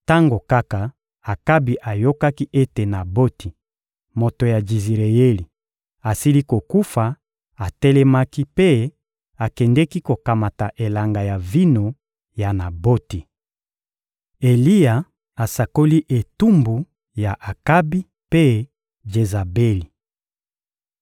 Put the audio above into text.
Tango kaka Akabi ayokaki ete Naboti, moto ya Jizireyeli, asili kokufa, atelemaki mpe akendeki kokamata elanga ya vino ya Naboti. Eliya asakoli etumbu ya Akabi mpe Jezabeli